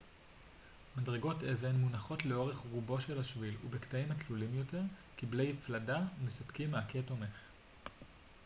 מדרגות אבן מונחות לאורך רובו של השביל ובקטעים התלולים יותר כבלי פלדה מספקים מעקה תומך